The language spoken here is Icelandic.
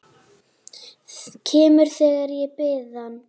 Kemur þegar ég bið hann.